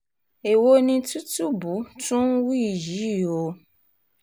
èwo ni tìtúbù tún ń wí yìí o